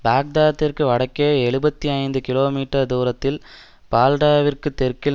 பாக்தாத்திற்கு வடக்கே எழுபத்தி ஐந்து கிலோ மீட்டர் தூரத்தில் பால்டாவிற்குத் தெற்கில்